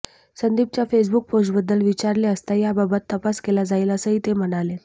संदीपच्या Facebook पोस्टबद्दल विचारले असता याबाबत तपास केला जाईल असंही ते म्हणालेत